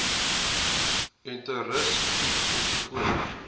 enteritis griep ensovoorts